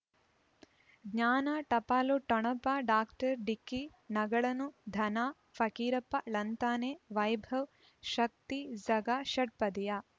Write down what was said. ಜ್ಞಾನ ಟಪಾಲು ಠೊಣಪ ಡಾಕ್ಟರ್ ಢಿಕ್ಕಿ ಣಗಳನು ಧನ ಫಕೀರಪ್ಪ ಳಂತಾನೆ ವೈಭವ್ ಶಕ್ತಿ ಝಗಾ ಷಟ್ಪದಿಯ